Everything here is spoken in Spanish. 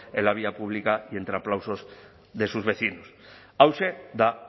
en la vía pública y entre aplausos de sus vecinos hauxe da